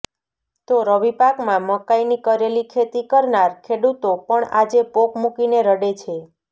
તો રવિપાકમાં મકાઇની કરેલી ખેતી કરનાર ખેડૂતો પણ આજે પોક મૂકીને રડે છે